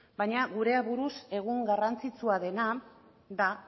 baina gure aburuz egun garrantzitsua dena da